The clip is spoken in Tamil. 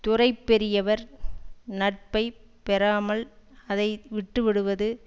துறை பெரியவர் நட்பை பெறாமல் அதை விட்டுவிடுவது